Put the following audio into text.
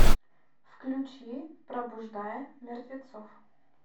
включи пробуждая мертвецов